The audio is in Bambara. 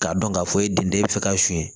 K'a dɔn k'a fɔ e den dɔ e bɛ fɛ ka suɲɛ